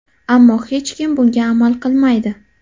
Ammo hech kim bunga amal qilmaydi.